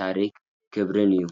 ታሪኽን ክብርን እዩ።